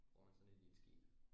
Bruger man sådan et i et skib